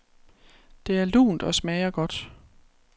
Det er lunt og smager godt.